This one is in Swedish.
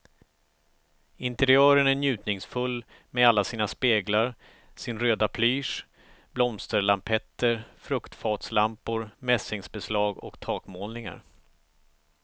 Interiören är njutningsfull med alla sina speglar, sin röda plysch, blomsterlampetter, fruktfatslampor, mässingbeslag och takmålningar.